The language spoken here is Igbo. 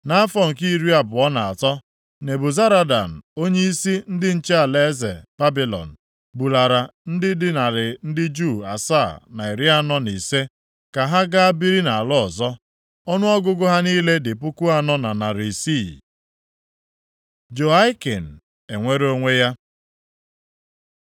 Nʼafọ nke iri abụọ na atọ, Nebuzaradan, onyeisi ndị nche alaeze Babilọn bulara ndị dị narị ndị Juu asaa na iri anọ na ise, 745 ka ha ga biri nʼala ọzọ. Ọnụọgụgụ ha niile dị puku anọ na narị isii, 4,600. Jehoiakin enwere onwe ya